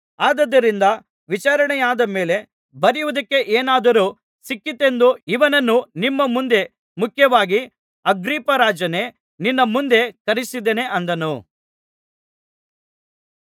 ಆದುದರಿಂದ ವಿಚಾರಣೆಯಾದ ಮೇಲೆ ಬರೆಯುವುದಕ್ಕೆ ಏನಾದರೂ ಸಿಕ್ಕೀತೆಂದು ಇವನನ್ನು ನಿಮ್ಮ ಮುಂದೆ ಮುಖ್ಯವಾಗಿ ಅಗ್ರಿಪ್ಪರಾಜನೇ ನಿನ್ನ ಮುಂದೆ ಕರೆಯಿಸಿದ್ದೇನೆ ಅಂದನು